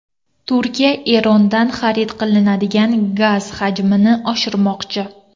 Turkiya Erondan xarid qilinadigan gaz hajmini oshirmoqchi.